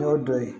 N'o dɔ ye